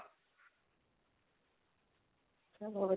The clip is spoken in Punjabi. ਚਲੋ ਵਧੀਆ